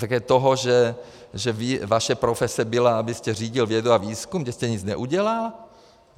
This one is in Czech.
Také toho, že vaše profese byla, abyste řídil vědu a výzkum, kde jste nic neudělal?